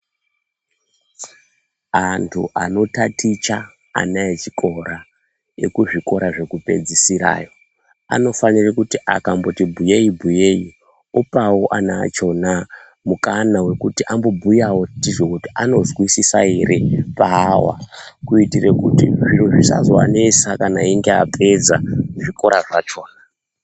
Antu anotaticha ana echikora, ekuzvikora zvekupedzisira anofanire kuti akamboti bhuyei bhuyei opawo ana achona mukana wekuti ambobhuyawo tizwe kuti anozwisisa here paahwa kuitira kuti zviro zvisazoanetsa kana einge apedza zvikora zvachona.